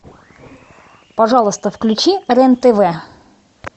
пожалуйста включи рен тв